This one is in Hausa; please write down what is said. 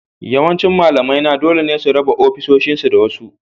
Yawancin malamaina dole ne su raba ofisoshinsu da wasu